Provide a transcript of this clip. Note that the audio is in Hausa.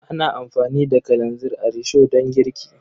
Ana amfani da kalanzir a risho don girki.